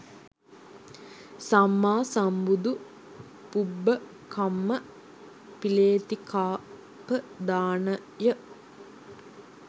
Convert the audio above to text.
සම්මා සම්බුදු පුබ්බකම්ම පිලේතිකාපදානය